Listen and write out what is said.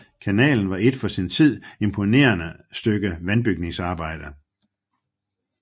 Kanalen var et for sin tid imponerende stykke vandbygningsarbejde